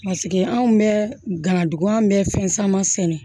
anw bɛ ganadugun bɛ fɛn caman sɛnɛ